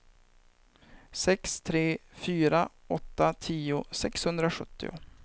sex tre fyra åtta tio sexhundrasjuttio